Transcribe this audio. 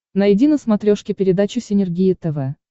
найди на смотрешке передачу синергия тв